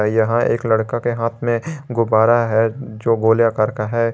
यहां एक लड़का के हाथ में गुब्बारा है जो गोले आकार का है।